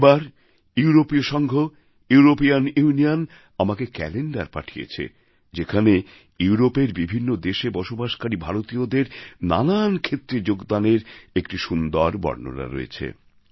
এবার ইউরোপীয় সঙ্ঘ ইউরোপীয়ান ইউনিয়ন আমাকে ক্যলেন্ডার পাঠিয়েছে যেখানে ইউরোপের বিভিন্ন দেশে বসবাসকারী ভারতীয়দের নানান ক্ষেত্রে যোগদানের একটি সুন্দর বর্ণনা রয়েছে